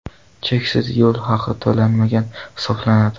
Cheksiz yo‘l haqi to‘lanmagan hisoblanadi.